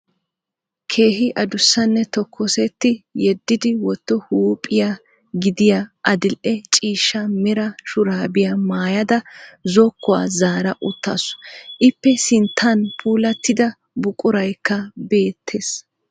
Keehi adussanne tokkosetti yeddi wotto huuphiya gidiya adil'e ciishsha mera shuraabiya mayyada zokkuwa zaara uttaasu. Iippe sinttan puulattida buqurayikka beettes.